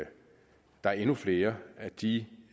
der er endnu flere af de